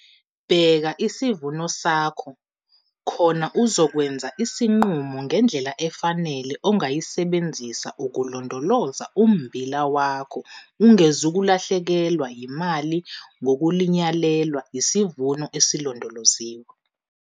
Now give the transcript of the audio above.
Bheka isivuno sakho khona uzokwenza isinqumo ngendlela efanele ongayisebenzisa ukulondoloza ummbila wakho ungezukulahlekelwa yimali ngokulinyalelwa yisivuno esilondoloziwe.